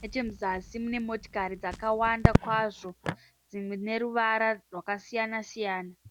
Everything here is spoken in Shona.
Nechekuzasi munemotari dzakawanda kwazvo, dzine ruvara rwakasiyana-siyana